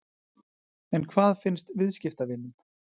En hvað finnst viðskiptavinum?